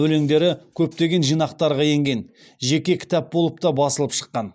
өлеңдері көптеген жинақтарға енген жеке кітап болып та басылып шыққан